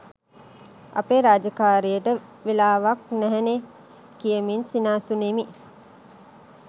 අපේ රාජකාරියට වෙලාවක්‌ නැහැනේ කියමින් සිනාසුනෙමි.